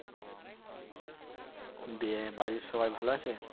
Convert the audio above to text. দিয়ে বাড়ির সবাই ভালো আছে?